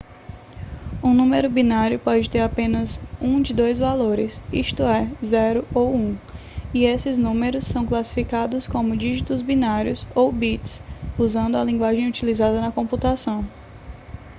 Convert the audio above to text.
um número binário pode ter apenas um de dois valores isto é 0 ou 1 e esses números são classificados como dígitos binários ou bits usando a linguagem utilizada na computação